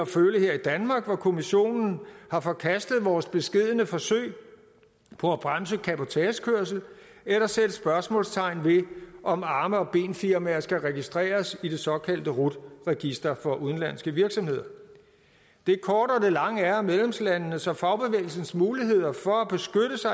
føle her i danmark hvor kommissionen har forkastet vores beskedne forsøg på at bremse cabotagekørslen eller sætte spørgsmålstegn ved om arme og ben firmaer skal registreres i det såkaldte rut register for udenlandske virksomheder det korte af det lange er at medlemslandenes og fagbevægelsens muligheder for